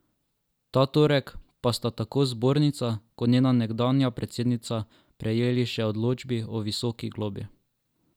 Ta torek pa sta tako zbornica kot njena nekdanja predsednica prejeli še odločbi o visoki globi.